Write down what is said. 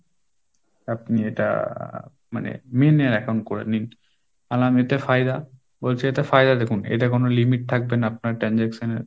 আপনি এটা মানে main এর account করে নিন, আমি বললাম এতে ফায়দা? বলছে এটা ফায়দা দেখুন এটা কোনো limit থাকবে না আপনার transaction এ।